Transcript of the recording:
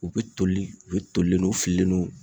U be toli u be tolilen don u fililen don